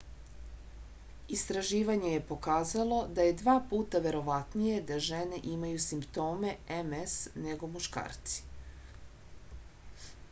istraživanje je pokazalo da je dva puta verovatnije da žene imaju simptome ms nego muškarci